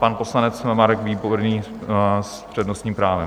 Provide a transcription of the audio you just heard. Pan poslanec Marek Výborný s přednostním právem.